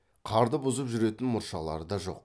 қарды бұзып жүретін мұршалары да жоқ